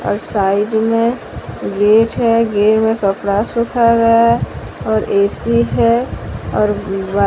और साइड में गेट हैं गेट में कपड़ा सुख गया है और ऐ_सी हैं और--